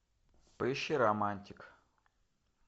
поищи романтик